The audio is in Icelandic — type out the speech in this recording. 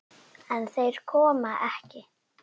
En þeir koma ekki.